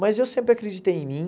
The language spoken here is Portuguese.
Mas eu sempre acreditei em mim.